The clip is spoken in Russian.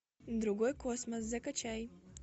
другой космос закачай